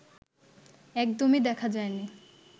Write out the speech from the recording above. একদমই দেখা যায়নি